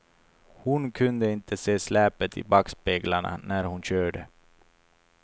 Hon kunde inte se släpet i backspeglarna när hon körde.